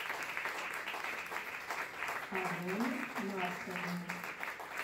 алене марсовне